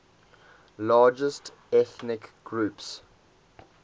largest ethnic groups